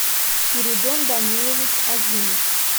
спиридон данилович азимов